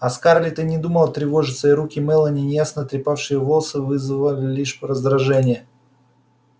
а скарлетт и не думала тревожиться и руки мелани неясно трепавшие волосы вызвали лишь раздражение